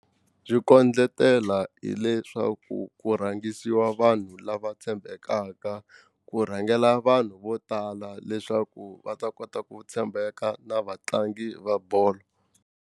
Byi kondletela hileswaku ku rhangisiwa vanhu lava tshembekaka ku rhangela vanhu vo tala leswaku va ta kota ku tshembeka na vatlangi va bolo.